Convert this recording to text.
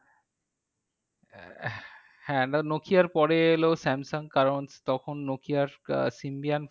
হ্যাঁ and Nokia পরে এলো Samsung কারণ তখন Nokia আহ Indian phone